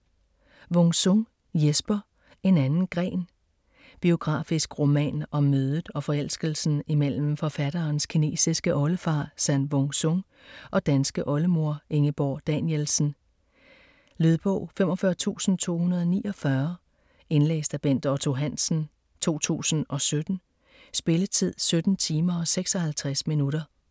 Wung-Sung, Jesper: En anden gren Biografisk roman om mødet og forelskelsen imellem forfatterens kinesiske oldefar San Wung Sung og danske oldemor Ingeborg Danielsen. Lydbog 45249 Indlæst af Bent Otto Hansen, 2017. Spilletid: 17 timer, 56 minutter.